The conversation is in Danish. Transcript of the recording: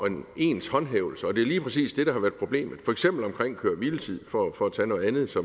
en ens håndhævelse det er lige præcis det der har været problemet for eksempel omkring køre hvile tid for at tage noget andet